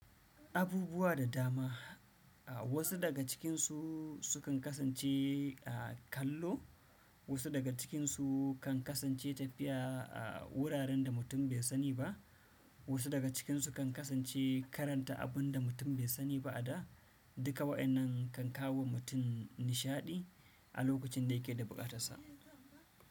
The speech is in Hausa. Abubuwa da dama. Wasu daga cikinsu su kan kasance kallo, wasu daga cikinsu kan kasance tafiya a wuraren da mutum bai sani ba, wasu daga cikinsu kan kasance karanta abun da mutum bai sani ba a da. Duka wa'yannan kan kawo wa mutum nishaɗi a lokacin da yake da buƙatarsa.